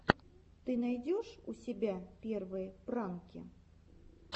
ты найдешь у себя первые пранки